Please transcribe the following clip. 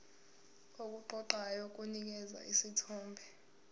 okuqoqayo kunikeza isithombe